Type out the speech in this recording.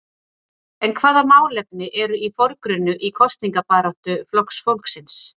En hvaða málefni eru í forgrunni í kosningabaráttu Flokks fólksins?